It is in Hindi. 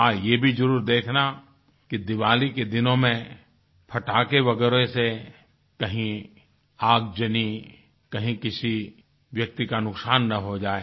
हाँ ये भी ज़रूर देखना कि दीवाली के दिनों में पटाखे वगैरा से कहीं आगजनी कहीं किसी व्यक्ति का नुकसान न हो जाए